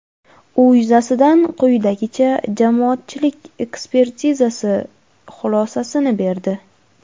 u yuzasidan quyidagicha Jamoatchilik ekspertizasi xulosasini berdi.